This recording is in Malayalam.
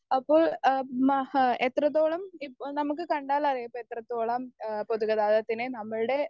സ്പീക്കർ 1 അപ്പോൾ ഏഹ് മ ഹ് എത്രത്തോളം ഇ നമുക്ക് കണ്ടാലറിയാം ഇപ്പോ എത്രത്തോളം ഏഹ് പൊതു ഗതാഗതത്തിനെ നമ്മളുടെ